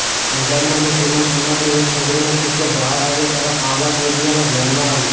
પંજાબના મુસલમાન સમાજની એક છોકરીનો કિસ્સો બહાર આવ્યો ત્યારે આ વાત મીડિયાના ધ્યાનમાં આવી